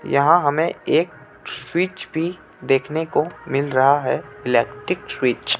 यहाँ हमें एक स्विच भी देखने को मिल रहा हे इलेक्ट्रीक स्विच .